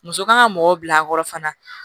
Muso kan ka mɔgɔw bila a kɔrɔ fana